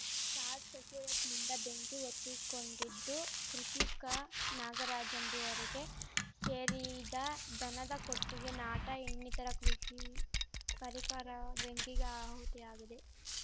short ಷಕ್ರ್ಯೂಟ್‌ನಿಂದ ಬೆಂಕಿ ಹೊತ್ತಿಕೊಂಡಿದ್ದು ಕೃಷಿಕ ನಾಗರಾಜ ಎಂಬುವರಿಗೆ ಶೇರಿದ ದನದ ಕೊಟ್ಟಿಗೆ ನಾಟಾ ಇನ್ನಿತರೆ ಕೃಷಿ ಪರಿಕರ ಬೆಂಕಿಗೆ ಆಹುತಿಯಾಗಿದೆ